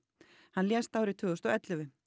hann lést árið tvö þúsund og ellefu